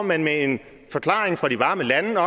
man med en forklaring fra de varme lande når